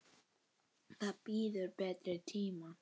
Það bíður betri tíma.